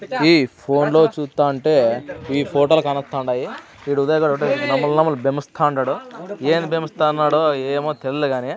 ఈ ఫోన్ లో చుతంటే ఈ ఫోటో లు కానోతాండాయి. ఈడు ఉదయ్ గాడు ఒకటే నమల నమల బేమిస్తాన్నాడు ఏం బేమిస్తనాడో ఏమో తెల్దు గానీ.